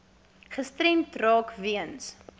gestremd raak weens